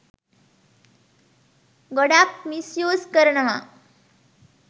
ගොඩාක් misuse කරනවා.